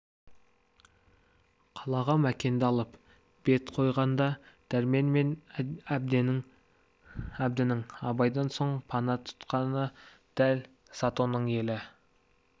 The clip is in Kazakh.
қалаға мәкенді алып бет қойғанда дәрмен мен әбдінің абайдан соң пана тұтқаны дәл затонның елі